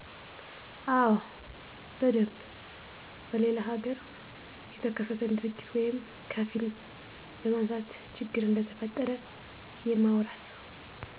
አዎ በደንብ በሌለላ ሀገር የተከሰተን ድርጊት ወይም ከፊልም በማንሳት ችግር እንደተፈጠረ የማውራት